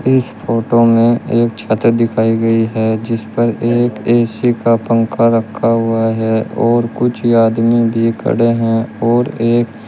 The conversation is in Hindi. इस फोटो में एक छत दिखाई गई है जिस पर एक ए_सी का पंखा रखा हुआ है और कुछ आदमी भी खड़े हैं और एक--